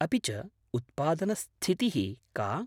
अपि च उत्पादनस्थितिः का?